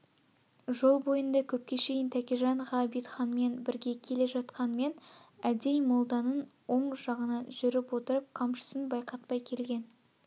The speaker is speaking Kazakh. жол бойында көпке шейін тәкежан ғабитханмен бірге келе жатқанмен әдей молданын оң жағынан жүріп отырып қамшысын байқатпай келген